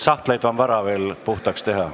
Sahtleid on veel vara puhtaks teha.